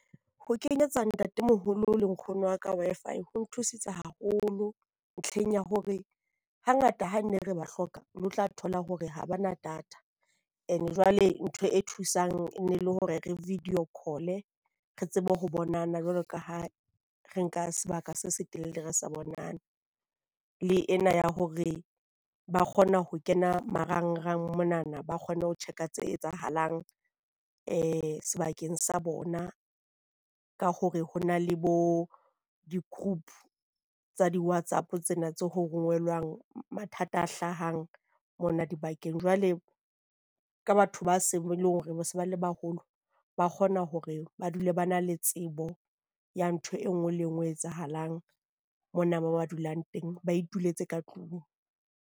Ho kenyetsa ntatemoholo le nkgono wa ka Wi-Fi ho nthusitse haholo ntlheng ya hore hangata ha ne re ba hloka o no tla thola hore ha bana data. And jwale ntho e thusang e ne le hore re video call-e re tsebe ho bonana jwalo ka ha re nka sebaka se se telele re sa bonane. Le ena ya hore ba kgona ho kena marangrang monana ba kgone ho check-a tse etsahalang sebakeng sa bona ka hore ho na le bo di-group tsa di-WhatsApp. Tsena ho rongwelwang mathata a hlahang mona dibakeng jwale ka batho ba ba seng e leng hore ba se ba le baholo, ba kgona hore ba dule ba na le tsebo ya ntho e nngwe le e nngwe etsahalang mona mo ba dulang teng ba ituletse ka tlung.